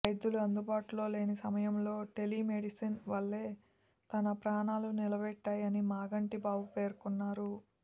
వైద్యులు అందుబాటులో లేని సమయంలో టెలీమెడిసిన్ వల్లే తన ప్రాణాలు నిలబడ్డాయని మాగంటి బాబు పేర్కొన్నారు